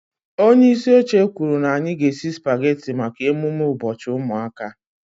Onye isi oche kwuru na anyị ga-esi spagetị maka emume ụbọchị ụmụaka